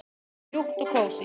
Það er mjúkt og kósí.